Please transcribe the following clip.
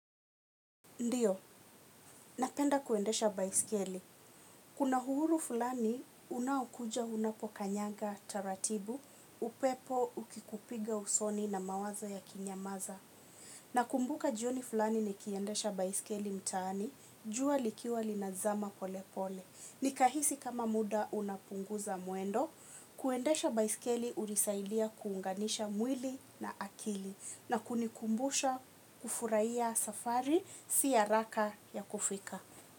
Ndiyo, napenda kuendesha baiskeli. Kuna uhuru fulani unaokuja unapokanyaga taratibu, upepo ukikupiga usoni na mawazo yakinyamaza. Nakumbuka jioni fulani nikiendesha baiskeli mtaani, jua likiwa linazama polepole. Nikahisi kama muda unapunguza mwendo, kuendesha baiskeli hunisaidia kuunganisha mwili na akili. Na kunikumbusha kufurahia safari si haraka ya kufika.